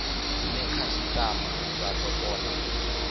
ine khasitama dza do kona